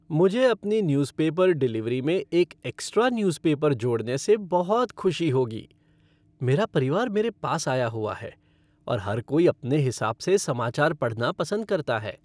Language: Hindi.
मुझे अपनी न्यूज़ पेपर डिलीवरी में एक एक्स्ट्रा न्यूज पेपर जोड़ने से बहुत खुशी होगी! मेरा परिवार मेरे पास आया हुआ है और हर कोई अपने हिसाब से समाचार पढ़ना पसंद करता है।